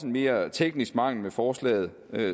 mere teknisk mangel ved forslaget